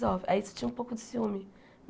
aí você tinha um pouco de ciúme.